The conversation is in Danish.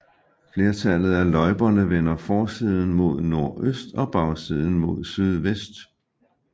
Flertallet af løjperne vender forsiden mod nordøst og bagsiden mod sydvest